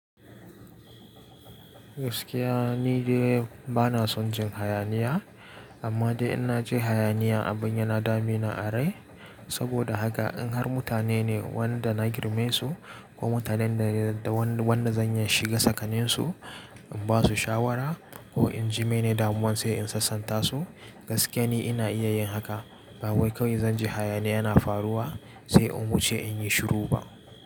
Gaskiya ni dai bana son jin hayaniya, amma dai in na ji hayaniya abin yana damina a rai. Saboda haka in har mutane ne wanda na girmesu ko mutanen da wanda zan iya shiga tsakaninsu, in basu shawara ko in jime ne damuwan sai in sassanta su, gaskiya ni ina iya yin haka. Ba wai kawai zan ji hayaniya yana faruwa sai in wuce in yi shiru ba.